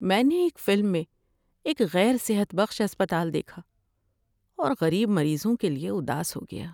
میں نے ایک فلم میں ایک غیر صحت بخش اسپتال دیکھا اور غریب مریضوں کے لیے اداس ہو گیا۔